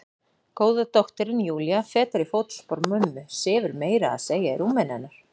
Góða dóttirin Júlía, fetar í fótspor mömmu, sefur meira að segja í rúminu hennar.